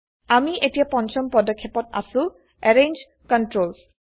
আমি এতিয়া পঞ্চম পদক্ষেপত আছো160 এৰেঞ্জ কন্ট্ৰলছ